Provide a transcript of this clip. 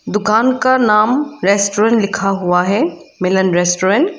दुकान का नाम रेस्टोरेंट लिखा हुआ है मिलन रेस्टोरेंट ।